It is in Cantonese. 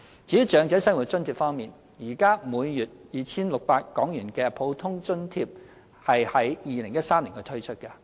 至於長者生活津貼方面，現時每月 2,600 港元的普通額津貼在2013年推出。